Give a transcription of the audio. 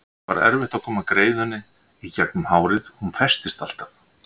Það var erfitt að koma greiðunni í gegnum hárið, hún festist alltaf.